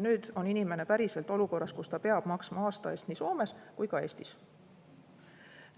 Nüüd on inimene päriselt olukorras, kus ta peab maksma aasta eest nii Soomes kui ka Eestis,